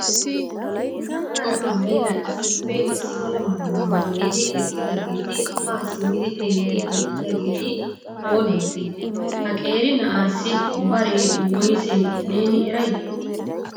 Na'aara aayyera issippe issi mala maayuwa maayidi eqqidaageeti ha simmi xeeliidi de'iyaageeti oonantte? Ha qeeri na'assi baree woysse neeni eray?